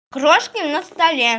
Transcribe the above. крошки на столе